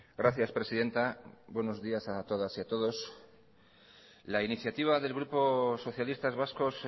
gracias presidenta buenos días a todas y a todos la iniciativa de grupo socialistas vascos